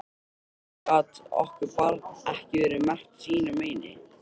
Af hverju gat okkar barn ekki verið merkt sínu meini?